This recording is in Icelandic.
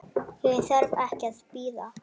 Ég þarf ekki að bíða.